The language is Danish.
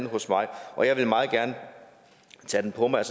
hos mig og jeg vil meget gerne tage det på mig